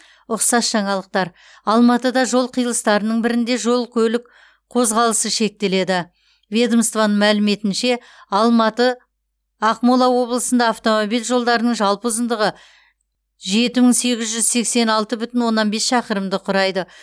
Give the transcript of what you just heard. ұқсас жаңалықтар алматыда жол қиылыстарының бірінде жол көлік қозғалысы шектеледі ведомствоның мәліметінше алматы ақмола облысында автомобиль жолдарының жалпы ұзындығы жеті мың сегіз жүз сексен алты бүтін оннан бес шақырымды құрайды